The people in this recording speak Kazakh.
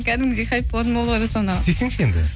кәдімгідей хайп болатын болды ғой жасұлан аға істесеңші енді